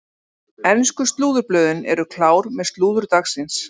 Ensku slúðurblöðin eru klár með slúður dagsins.